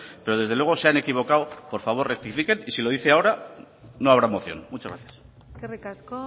pero desde luego se han equivocado por favor rectifiquen y si lo dice ahora no habrá moción muchas gracias eskerrik asko